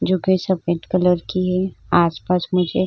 जोकि सफ़ेद कलर की है। आसपास मुझे --